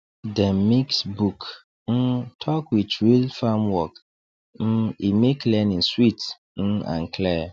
dem mix book um talk with real farm work um e make learning sweet um and clear